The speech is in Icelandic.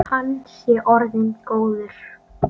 Hann sé orðinn góður.